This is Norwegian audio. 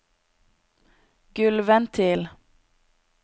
gulvventil